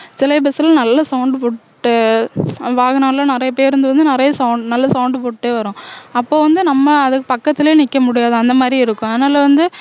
சிலைய bus ல நல்ல sound போட்டு வாகனம் எல்லாம் நிறைய பேருந்து வந்து நிறைய soun~ நல்லா sound போட்டுட்டே வரும் அப்ப வந்து நம்ம அதுக்கு பக்கத்துலயே நிக்க முடியாது அந்த மாதிரி இருக்கும் ஆனாலும் வந்து